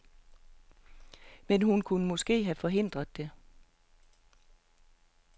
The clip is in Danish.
Men hun kunne måske have forhindret det.